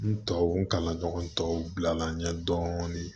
N tɔ kalan ɲɔgɔn tɔw bilala n ɲɛ dɔɔnin